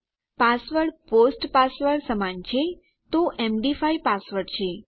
password post password સમાન છે તો એમડી5 પાસવર્ડ છે